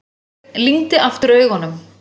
Sveinn lygndi aftur augunum.